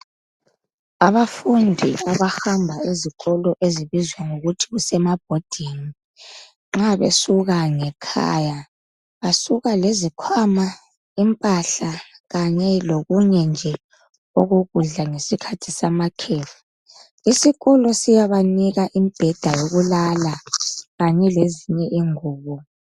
Abafundi abahamba ezikolo ezibizwa ngokuthi kusemabhodini, nxa besuka ngekhaya basuka lezikhwama impahla kanye lokunye nje okokudla ngesikhathi samakhefu. Isikolo siyabanika imbheda yokulala kanye lezinye ingubo.